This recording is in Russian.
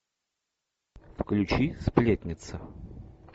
включи сплетница